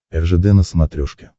ржд на смотрешке